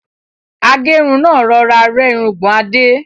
Agẹ́run náà rọra rẹ́ irungbọ̀n Adé.